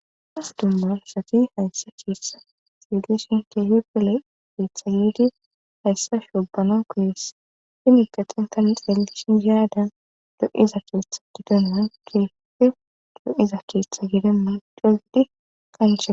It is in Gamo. Ha dummarasati hayssa kheessa siedishin teehipele geetha yidi hayssa shobano koes fini gaxinta lixeel shizaaadan do'iza keetha gidonan dife do'iza keetha gedemman degidi qancha.